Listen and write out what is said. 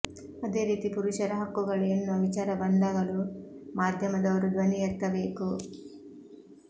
ಅದೇ ರೀತಿ ಪುರುಷರ ಹಕ್ಕುಗಳು ಎನ್ನುವ ವಿಚಾರ ಬಂದಾಗಲೂ ಮಾಧ್ಯಮದವರು ಧ್ವನಿ ಎತ್ತಬೇಕು